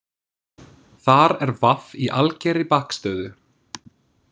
Þar er v í algerri bakstöðu.